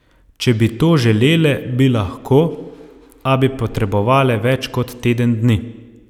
Če bi to želele, bi lahko, a bi potrebovale več kot teden dni.